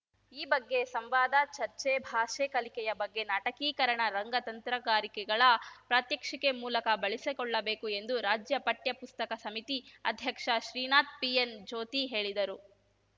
ಈ ಬಗ್ಗೆ ಸಂವಾದ ಚರ್ಚೆ ಭಾಷೆ ಕಲಿಕೆಯ ಬಗ್ಗೆ ನಾಟಕೀಕರಣ ರಂಗ ತಂತ್ರಗಾರಿಕೆಗಳ ಪ್ರಾತ್ಯಕ್ಷಿಕೆ ಮೂಲಕ ಬಳಸಿಕೊಳ್ಳಬೇಕು ಎಂದು ರಾಜ್ಯ ಪಠ್ಯಪುಸ್ತಕ ಸಮಿತಿ ಅಧ್ಯಕ್ಷ ಶ್ರೀನಾಥ್‌ ಪಿಎನ್‌ಜ್ಯೋತಿ ಹೇಳಿದರು